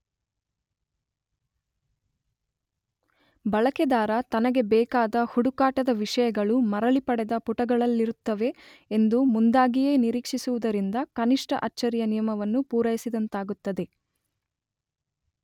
ಬಳಕೆದಾರ ತನಗೆ ಬೇಕಾದ ಹುಡುಕಾಟದ ವಿಷಯಗಳು ಮರಳಿಪಡೆದ ಪುಟಗಳಲ್ಲಿರುತ್ತವೆ ಎಂದು ಮುಂದಾಗಿಯೇ ನಿರೀಕ್ಷಿಸುವುದರಿಂದ ಕನಿಷ್ಟ ಅಚ್ಚರಿಯ ನಿಯಮವನ್ನು ಪೂರಯಿಸಿದಂತಾಗುತ್ತದೆ.